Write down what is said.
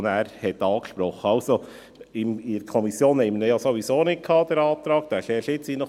Den Antrag hatten wir sowieso nicht in der Kommission, weil er erst jetzt reinkam.